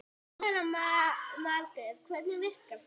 Jóhanna Margrét: Hvernig virkar þetta?